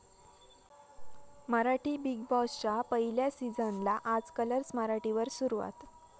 Marathi 'big बॉस'च्या पहिल्या सीझनला आज 'कलर्स मराठी' वर सुरवात